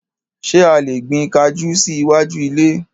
Ṣé a lè gbin kajú sí iwájú ilé?